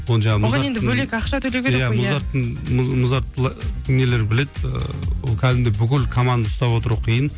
иә музарттың нелері біледі ыыы ол кәдімгідей бүкіл команда ұстап отыру қиын